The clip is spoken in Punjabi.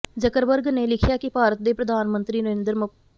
ਜ਼ਕਰਬਰਗ ਨੇ ਲਿਖਿਆ ਕਿ ਭਾਰਤ ਦੇ ਪ੍ਰਧਾਨ ਮੰਤਰੀ ਨਰਿੰਦਰ ਮ